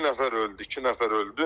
İki nəfər öldü, iki nəfər öldü.